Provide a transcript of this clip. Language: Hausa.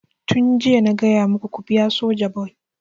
Tun jiya na gaya maku ku biya Sojaboy!